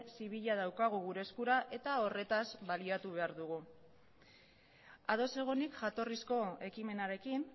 zibila daukagu gure eskura eta horretaz baliatu behar dugu ados egonik jatorrizko ekimenarekin